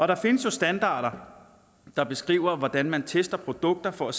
der findes jo standarder der beskriver hvordan man tester produkter for at